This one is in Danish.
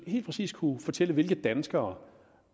helt præcis kunne fortælle hvilke danskere